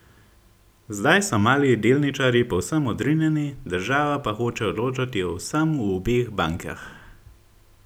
Zdaj so mali delničarji povsem odrinjeni, država pa hoče odločati o vsem v obeh bankah.